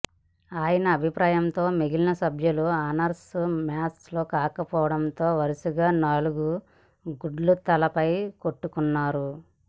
ఆయన అభిప్రాయంతో మిగిలిన సభ్యుల ఆన్సర్స్ మ్యాచ్ కాకపోవడంతో వరుసగా నాలుగు గుడ్లు తలపై కొట్టుకున్నారు